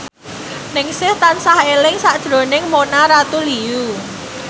Ningsih tansah eling sakjroning Mona Ratuliu